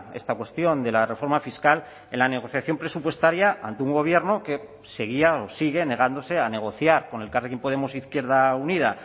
esta cuestión de la reforma fiscal en la negociación presupuestaria ante un gobierno que seguía o sigue negándose a negociar con elkarrekin podemos izquierda unida